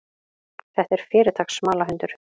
Þetta er fyrirtaks smalahundur.